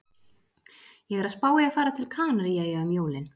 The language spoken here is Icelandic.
Ég er að spá í að fara til Kanaríeyja um jólin